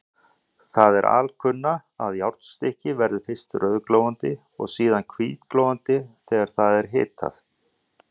Það er alkunna, að járnstykki verður fyrst rauðglóandi og síðan hvítglóandi þegar það er hitað.